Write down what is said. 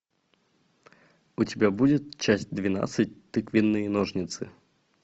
у тебя будет часть двенадцать тыквенные ножницы